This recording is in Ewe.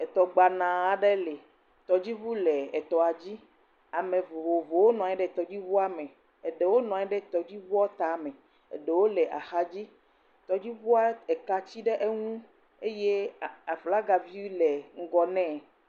Etɔ gbana aɖe le, tɔdzi ʋu le etɔa dzi, ame vovovowo nɔanyi ɖe tɔdzi ʋuame, eɖewo nɔanyi ɖe tɔdzi ʋuɔ tame, eɖowo le axa dzi, tɔdzi ʋua eka tsi ɖe eŋu, eye aflaga vi le ŋgɔ nee.